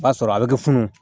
O b'a sɔrɔ a bɛ kɛ funun